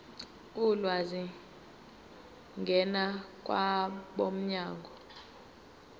ulwazi ngena kwabomnyango